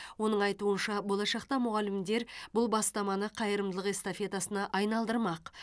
оның айтуынша болашақта мұғалімдер бұл бастаманы қайырымдылық эстафетасына айналдырмақ